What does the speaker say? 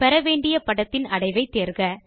பெற வேண்டிய படத்தின் அடைவை தேர்க